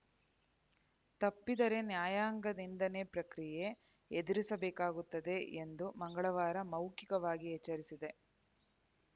ತಪ್ಪಿದರೆ ನ್ಯಾಯಾಂಗ ನಿಂದನೆ ಪ್ರಕ್ರಿಯೆ ಎದುರಿಸಬೇಕಾಗುತ್ತದೆ ಎಂದು ಮಂಗಳವಾರ ಮೌಖಿಕವಾಗಿ ಎಚ್ಚರಿಸಿದೆ